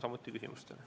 Vastan küsimustele.